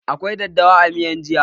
Akwai daddawa a miyan jiya?